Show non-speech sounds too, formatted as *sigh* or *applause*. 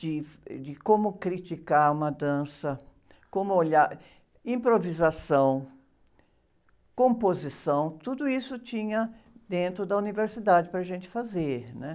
de, *unintelligible* de como criticar uma dança, como olhar... Improvisação, composição, tudo isso tinha dentro da universidade para a gente fazer, né?